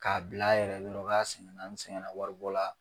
K'a bila a yɛrɛ ye dɔrɔ k'a sɛgɛnna waribɔ la.